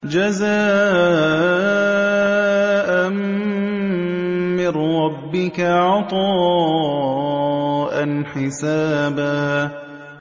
جَزَاءً مِّن رَّبِّكَ عَطَاءً حِسَابًا